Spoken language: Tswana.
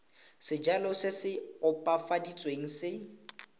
sejalo se se opafaditsweng se